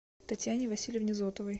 татьяне васильевне зотовой